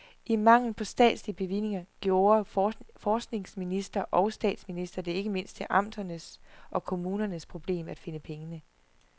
I mangel på statslige bevillinger gjorde forskningsminister og statsminister det ikke mindst til amternes og kommunernes problem at finde pengene.